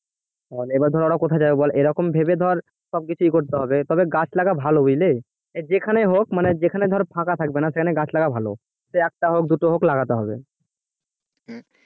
এবার ধর ওরা কোথায় যাবে বল এরকম ভেবে ধর সবকিছুই করতে হবে তবে গাছ লাগা ভালো বুঝলি যেখানেই হোক মানে যেখানে ধর ফাঁকা থাকবে না সেখানে গাছ লাগা ভালো সে একটা হোক দুটো হোক লাগাতে হবে